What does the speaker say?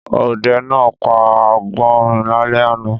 Ọdẹ náà pa agbọnrìn lálẹ́ àná.